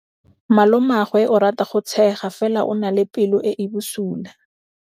Malomagwe o rata go tshega fela o na le pelo e e bosula.